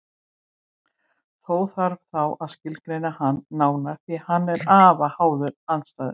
Þó þarf þá að skilgreina hann nánar því að hann er afar háður aðstæðum.